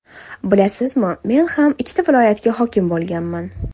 Bilasizmi, men ham ikkita viloyatga hokim bo‘lganman.